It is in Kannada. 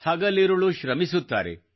ಹಗಲಿರುಳು ಶ್ರಮಿಸುತ್ತಾರೆ